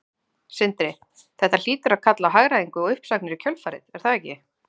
Sindri: Þetta hlýtur að kalla á hagræðingu og uppsagnir í kjölfarið er það ekki?